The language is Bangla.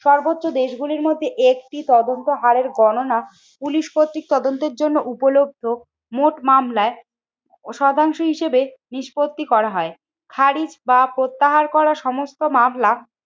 সর্বোচ্চ দেশগুলির মধ্যে একটি তদন্ত হারের গণনা পুলিশ কর্তৃক তদন্তের জন্য উপলব্ধ মোট মামলায় ও শতাংশ হিসেবে নিষ্পত্তি করা হয়। খারিজ বা প্রত্যাহার করা সমস্ত মামলা